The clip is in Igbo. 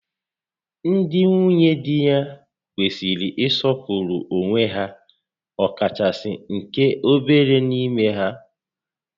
Ndị nwunye di kwesịrị ị sọpụrụ onwe ha, ọkachasị nke obere n'ime ha